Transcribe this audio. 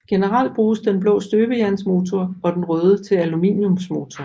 Generelt bruges den blå til støbejernsmotorer og den røde til aluminiumsmotorer